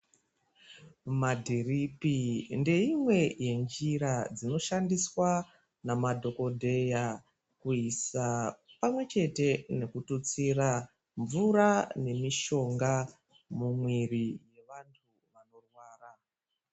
Madhiripi, ngeimwe yenjira inoshandiswa ngemadhokodheya kuisa pamwe nekututsira mvura nemishonga mumwiri yevantu vanorwara.